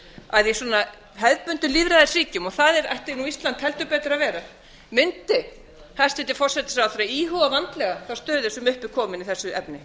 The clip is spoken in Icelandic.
að í svona hefðbundnum lýðræðisríkjum og það ætti ísland heldur betur að vera mundi hæstvirtur forsætisráðherra íhuga vandlega þá stöðu sem upp er komin í þessu efni